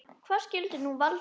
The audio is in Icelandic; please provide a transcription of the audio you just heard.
Hvað skyldi nú valda því?